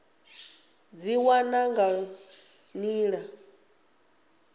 u dzi wana nga nḓila